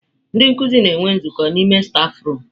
Ndị nkuzi na-enwe nzukọ n'ime stafurum.